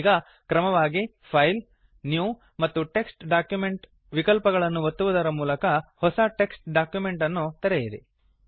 ಈಗ ಕ್ರಮವಾಗಿ file new ಮತ್ತು ಟೆಕ್ಸ್ಟ್ ಡಾಕ್ಯುಮೆಂಟ್ ವಿಕಲ್ಪಗಳನ್ನು ಒತ್ತುವುದರ ಮೂಲಕ ಹೊಸ ಟೆಕ್ಸ್ಟ್ ಡಾಕ್ಯುಮೆಂಟ್ ಅನ್ನು ತೆರೆಯಿರಿ